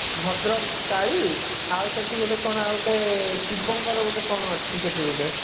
ଭଦ୍ରକ କାଳୀ ଆଉ ସେଠି ଗୋଟେ କଣ ଆଉ ଗୋଟେ ଶିବଙ୍କର ଗୋଟେ କଣ ଅଛି ସେଠି ଗୋଟେ